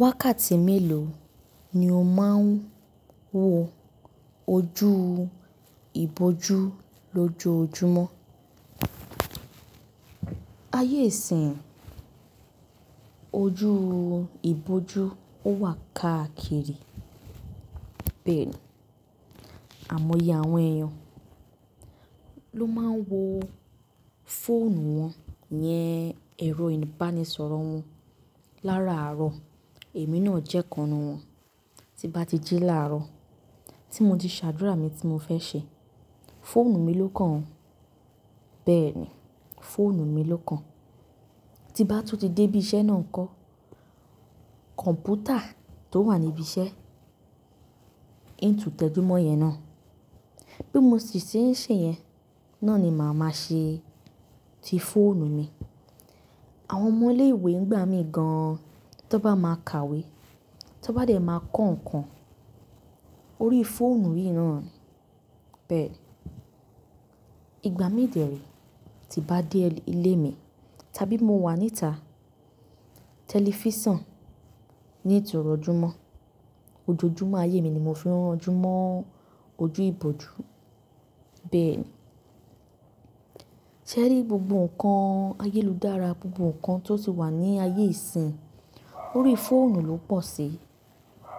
Wákàtí mélòó ni o máa ń wo ojú ìbòjú lójoojúmọ́? Ayé ìsìn ojú ìbòjú ó wà káàkiri. Bẹ́ẹ̀ni. Àmọ́ iye àwọn èèyàn ló máa ń wo fóònù wọn iyẹn, ẹ̀rọ ìbánisọ̀rọ̀ wọn lára àárọ̀, èmi náà jẹ́ kan nu wọn. Tí bá ti jí láàárọ̀, tí mo ti ṣàdúrà mi tí mo fẹ́ ṣe, fóònù mi ló kàn. Bẹ́ẹ̀ni, fóònù mi ló kàn. Tí bá tún ti dé ibi iṣẹ́ náà ń kọ́, kọ̀ǹpútà tó wà ní ibi iṣẹ́, ìtùntẹ̀júmọ́ yẹn náà, bí mo ṣe ń ṣe yẹn, náà ni màá máa ṣe ti fóònù mi. Àwọn ọmọ ilé ìwé ń gbá mi gan-an. Tó bá máa ka ìwé, tó bá jẹ̀ máa kọ́ nǹkan, orí fóònù yìí náà ni. Bẹ́ẹ̀ni. Ìgbà mí dẹ̀re, tí bá dé ilé mi, tàbí mo wà níta, tẹlifísàn ni n tú rójúmọ́. Ojojúmọ́ ayé mi ni mo fi rán ojúmọ́ ojú ìbòjú. Bẹ́ẹ̀ni. Sẹ́rí gbogbo nǹkan ayélù dára, gbogbo nǹkan tó ti wà ní ayé ìsìn, orí fóònù ló pọ̀ sí.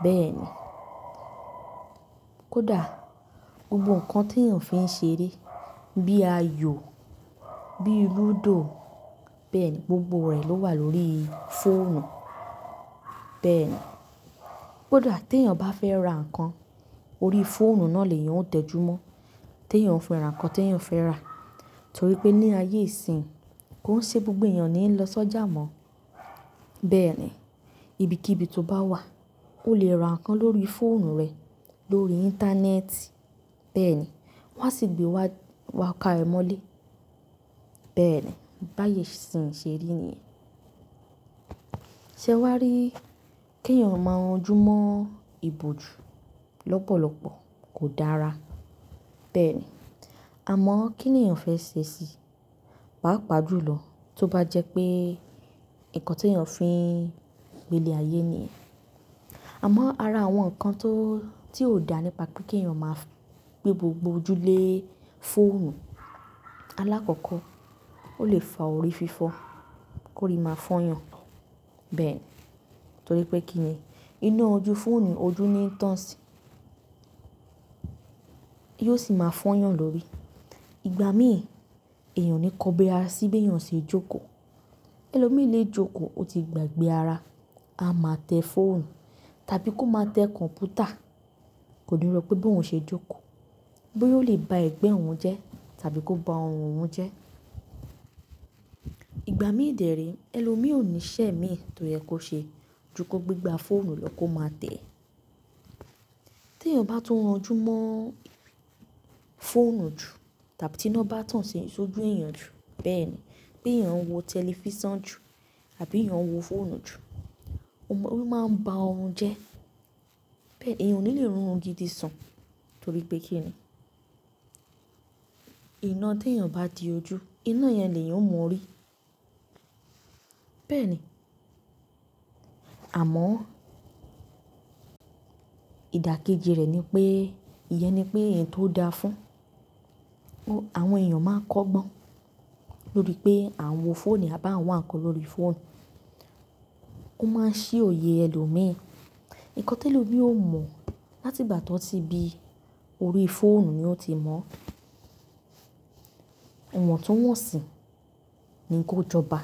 Bẹ́ẹ̀ni. Kódà gbogbo nǹkan tí èèyàn fi ń ṣe eré, bí i ayò, bí i lúdò, bẹ́ẹ̀ni, gbogbo rẹ̀ ló wà lórí fóònù. Bẹ́ẹ̀ni. Kódà tí èèyàn bá fẹ́ ra nǹkan, orí fóònù náà le èèyàn ó tẹ̀júmọ́. Tí èèyàn ó fi ra nǹkan tí èèyàn ó fẹ́ rà. Torí pé ní ayé ìsìn, kó ṣe gbogbo èèyàn ni ń lọ sójà mọ́. Bẹ́ẹ̀ni. Ibi kibii tó bá wà, o lè ra nǹkan lórí fóònù rẹ, lórí Íńtánẹ́ẹ̀tì. Bẹ́ẹ̀ni. Wọn á sì gbé wá, wá ká ẹ mọ́lé. Bẹ́ẹ̀ni. Báye ìsìn ṣe ri nìyẹn. Sẹ́ wá rí, kí èèyàn máa ma rań júmọ́ ìbòjú lọ́pọ̀lọ́pọ̀ kò dára. Bẹ́ẹ̀ni. Àmọ́ kí ni èèyàn fẹ́ ṣe sí i? Paa pà jú lọ, tó bá jẹ́ pé nǹkan tí èèyàn fi ń gbelé ayé nìyẹn. Àmọ́ ara àwọn nǹkan tó, tí ò dá nípa pé kí èèyàn máa gbé gbogbo ojú lé fóònù. Alákọ̀ọ́kọ́, ó lè fa orí fífọ́, kó rí máa fọ́yàn. Bẹ́ẹ̀ni. Torí pé kí ni, iná ojú fóònù, ojú ni ń tàn sí yóò sì máa fọ́yàn lórí. Ìgbà mí èèyàn o ni kò bi ara sí bí èèyàn ṣe jókòó. Ẹlòmíí lè jókòó, ó ti gbàgbé ara. A máa tẹ fóònù, tàbí kó máa tẹ kọ̀ǹpútà, kò ní rọ̀ pé bí òun ṣe jókòó. Boya ó lè ba ẹ̀gbẹ́ òun jẹ́, tàbí kó ba ọrùn òun jẹ́. Ìgbà mí dẹ re, ẹlòmíì ò ní iṣẹ́ mí tó yẹ kó ṣe, ju kòó gbe igba fóònù ló kó máa tẹ̀. Tí èèyàn bá tún ranjú mọ́ fóònù jù, tàbí tí iná bá tàn sójú èèyàn jù, bẹ́ẹ̀ni, bí èèyàn ń wo tẹlifísàn jù, tàbí èèyàn ń wo fóònù jù, ó máa ń ba ọrùn jẹ́. Èèyàn ò ní lè rún ọrùn gidi sun. Torí pé kí ni, iná tí èèyàn bá di ojú, iná yẹn ni èèyàn ó mo orí. Bẹ́ẹ̀ni. Àmọ́, ìdàkejì rẹ̀ ni pé, ìyẹn ni pé ẹ̀yin tó dáa fún, àwọn èèyàn máa ń kọ́gbọ́n. Lórí pé àn wò fóònù, à bá àwọn nǹkan lórí fóònù. Ó máa ń ṣí òye ẹlòmíì. Nǹkan tí ẹlòmíì ò mọ̀, láti ìgbà tó ti bí i, orí fóònù ni ó ti mọ̀ ọ́. Ìwọ̀n tun wọ̀nsì ni kó jọba.